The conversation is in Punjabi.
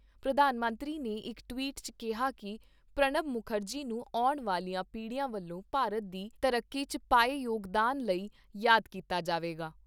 ਪ੍ਰਧਾਨ ਮੰਤਰੀ ਨੇ ਇਕ ਟਵੀਟ 'ਚ ਕਿਹਾ ਕਿ ਪ੍ਰਣਬ ਮੁਖਰਜੀ ਨੂੰ ਆਉਣ ਵਾਲੀਆਂ ਪੀੜੀਆਂ ਵੱਲੋਂ ਭਾਰਤ ਦੀ ਤਰੱਕੀ 'ਚ ਪਾਏ ਯੋਗਦਾਨ ਲਈ ਯਾਦ ਕੀਤਾ ਜਾਵੇਗਾ।